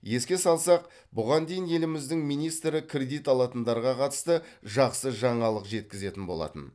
еске салсақ бұған дейін еліміздің министрі кредит алатындарға қатысты жақсы жаңалық жеткізетін болатын